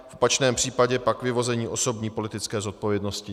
V opačném případě pak vyvození osobní politické zodpovědnosti.